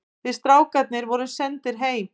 Við strákarnir vorum sendir heim.